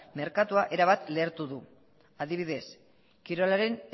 merkatua erabat lehertu du adibidez kirolaren